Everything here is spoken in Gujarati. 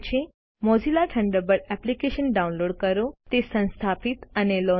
મોઝિલા થન્ડરબર્ડ એપ્લિકેશન ડાઉનલોડ કરો તેને સંસ્થાપિત અને લોન્ચ કરો